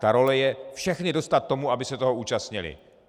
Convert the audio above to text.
Ta role je všechny dostat tomu, aby se toho účastnili.